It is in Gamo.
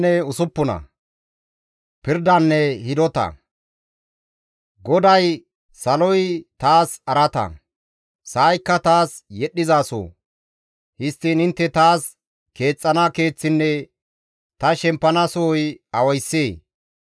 GODAY, «Saloy taas araata; sa7aykka taas yedhdhizaso; histtiin intte taas keexxana keeththinne ta shemppana soy awayssee?